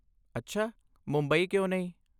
ਅੱਛਾ, ਮੁੰਬਈ ਕਿਉਂ ਨਹੀਂ?